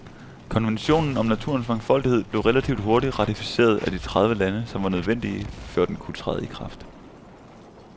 Konventionen om naturens mangfoldighed blev relativt hurtigt ratificeret af de tredive lande, som var nødvendige, før den kunne træde i kraft.